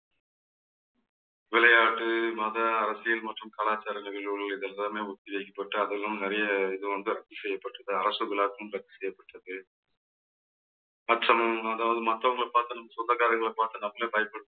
விளையாட்டு மத அரசியல் மற்றும் கலாச்சாரம் நிகழ்வுகள் இதெல்லாமே ஒத்தி வைக்கப்பட்டு அதெல்லாம நிறைய இது வந்து ரத்து செய்யப்பட்டிருக்கு. அரசு விழாவும் ரத்து செய்யப்பட்டிருக்கு. மற்றும் அதாவது மத்தவங்களை பார்த்து நம்ம சொந்தக்காரங்களை பார்த்து நம்மளே பயப்பட